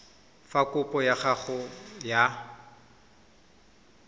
fa kopo ya gago ya